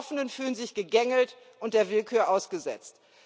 Die Betroffenen fühlen sich gegängelt und der Willkür ausgesetzt.